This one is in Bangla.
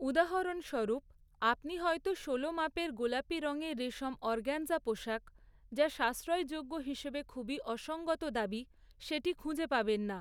উদাহরণস্বরূপ, আপনি হয়তো ষোলো মাপের গোলাপি রঙের রেশম অর্গাঞ্জা পোশাক, যা সাশ্রয়যোগ্য হিসেবে খুবই অসংগত দাবি, সেটি খুঁজে পাবেন না।